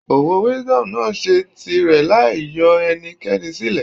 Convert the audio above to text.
Òwò Wisdom náà ṣe tirẹ̀ láì yọ ẹnikẹ́ni sílẹ̀.